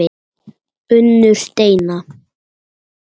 Unnur Steina.